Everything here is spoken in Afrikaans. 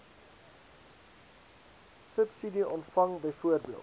subsidie ontvang byvoorbeeld